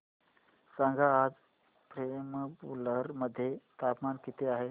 सांगा आज पेराम्बलुर मध्ये तापमान किती आहे